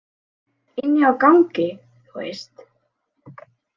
Inni á gangi, þú veist.